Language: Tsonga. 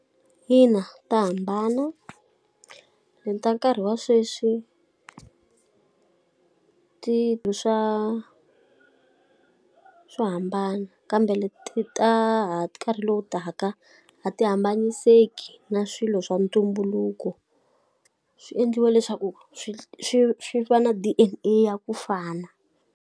Ina ta hambana. Leti ta nkarhi wa sweswi ti swo hambana, kambe ti ta ha nkarhi lowu taka a ti hambanyiseki na swilo swa ntumbuluko. Swi endliwa leswaku swi swi swi va na D_N_A ya ku fana.